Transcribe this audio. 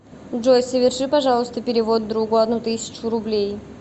джой соверши пожалуйста перевод другу одну тысячу рублей